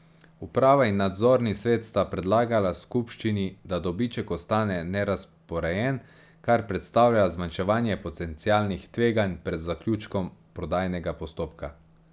Uprava in nadzorni svet sta predlagala skupščini, da dobiček ostane nerazporejen, kar predstavlja zmanjševanje potencialnih tveganj pred zaključkom prodajnega postopka.